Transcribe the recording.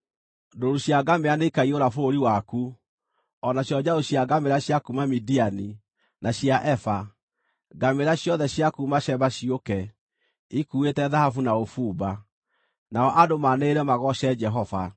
Ndũũru cia ngamĩĩra nĩikaiyũra bũrũri waku, o nacio njaũ cia ngamĩĩra cia kuuma Midiani, na cia Efa. Ngamĩĩra ciothe cia kuuma Sheba ciũke, ikuuĩte thahabu na ũbumba, nao andũ maanĩrĩre magooce Jehova.